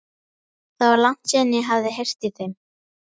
Það var langt síðan ég hafði heyrt í þeim.